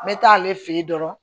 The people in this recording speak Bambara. N bɛ taa ale fɛ yen dɔrɔn